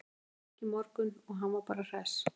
Ég heyrði í Berki í morgun og hann var bara hress.